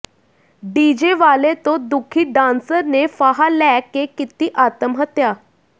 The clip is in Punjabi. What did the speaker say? ਡੀਜੇ ਵਾਲੇ ਤੋਂ ਦੁਖੀ ਡਾਂਸਰ ਨੇ ਫਾਹਾ ਲੈ ਕੇ ਕੀਤੀ ਆਤਮ ਹੱਤਿਆ